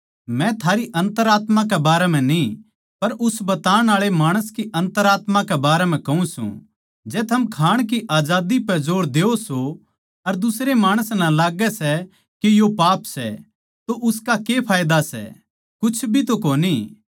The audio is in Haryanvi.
मै थारी अन्तरात्मा के बारें म्ह न्ही पर उस बताण आळे माणस की अन्तरात्मा बारें म्ह कहूँ सूं जै थम खाण की आजादी पै जोर देओ सों अर दुसरे माणस नै लाग्गै सै के यो पाप सै तो उसका के फायदा सै कुछ भी तो कोनी